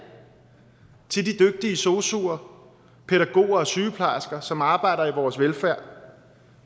til de dygtige sosuer pædagoger og sygeplejersker som arbejder for vores velfærd